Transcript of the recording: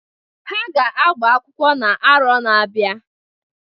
Ha ga-agba akwụkwọ na arọ na-abịa.